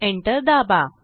enter दाबा